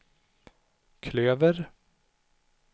klöver